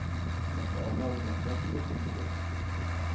Ertu ánægð með knattspyrnustjórann?